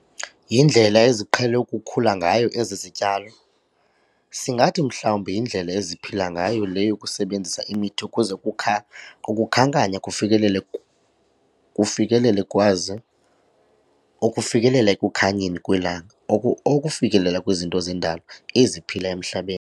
Yindlela eziqhele ukukhula ngayo ezi zityalo, singathi mhlawumbi yindlela eziphila ngayo le yokusebenzisa imithi ukuze ukukha ukukhankanya kufikelele kufikelele kwazi ukufikelela ekukhanyeni kwelanga oku okufikelela kwizinto zendalo eziphila emhlabeni.